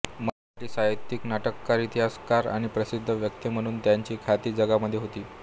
मराठी साहित्यिक नाटककार इतिहासकार आणि प्रसिध्द वक्ते म्हणुन त्याची ख्याती जगामध्ये होती